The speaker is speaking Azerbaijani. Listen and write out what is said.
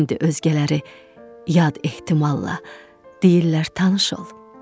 İndi özgələri yad ehtimalla deyirlər tanış ol.